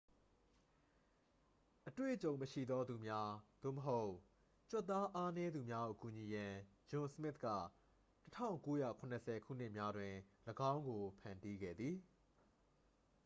အတွေ့အကြုံမရှိသော သူများ သို့မဟုတ် ကြွက်သားအားနည်းသူများကို ကူညီရန် ဂျွန်စမစ်က 1970 ခုနှစ်များတွင် ၎င်းကို ဖန်တီးခဲ့သည်